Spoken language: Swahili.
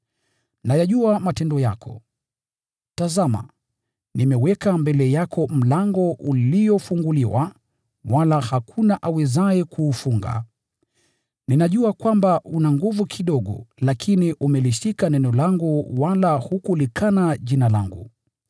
Nayajua matendo yako. Tazama, nimeweka mbele yako mlango uliofunguliwa, wala hakuna awezaye kuufunga. Ninajua kwamba una nguvu kidogo lakini umelishika neno langu wala hukulikana Jina langu.